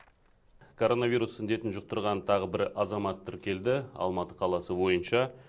коронавирус індетін жұқтырған тағы бір азамат тіркелді алматы қаласы бойынша